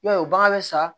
I b'a ye u bagan bɛ sa